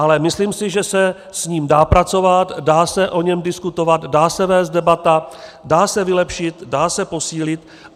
Ale myslím si, že se s ním dá pracovat, dá se o něm diskutovat, dá se vést debata, dá se vylepšit, dá se posílit.